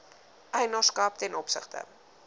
eienaarskap ten opsigte